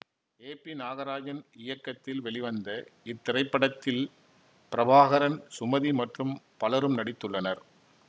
ஏ P Nagarajan இயக்கத்தில் வெளிவந்த இத்திரைப்படத்தில் பிரபாகரன் சுமதி மற்றும் பலரும் நடித்துள்ளனர்